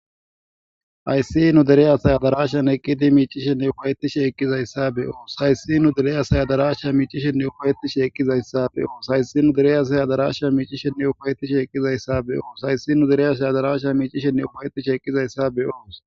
Haysi besiday kehi aho nne dalga gidida ketati qoletidaysanne etika duma duma suchati laletidaysa qoncisidi beses. Etappe hini bagara aksume hawulte betes